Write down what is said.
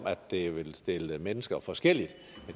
at det vil stille mennesker forskelligt